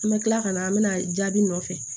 An bɛ kila ka na an bɛna jaabi nɔfɛ